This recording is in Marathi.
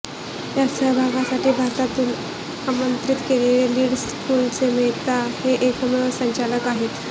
यात सहभागासाठी भारतातून आमंत्रित केलेले लीड स्कूलचे मेहता हे एकमेव संचालक आहेत